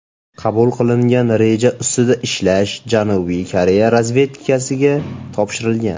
Qabul qilingan reja ustida ishlash Janubiy Koreya razvedkasiga topshirilgan.